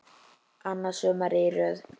Annað sumarið í röð.